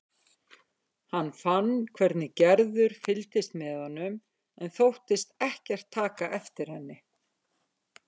Hann fann hvernig Gerður fylgdist með honum en þóttist ekkert taka eftir henni.